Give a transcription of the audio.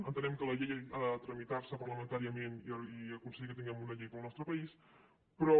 entenem que la llei ha de tramitar se parlamentàriament i aconseguir que tinguem una llei per al nostre país però